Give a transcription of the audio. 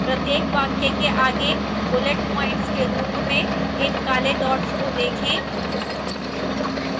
प्रत्येक वाक्य के आगे bullet points के रूप में इन काले dots को देखें